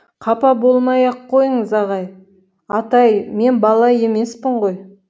қапа болмай ақ қойыңыз атай мен бала емеспін ғой